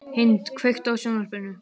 Hind, kveiktu á sjónvarpinu.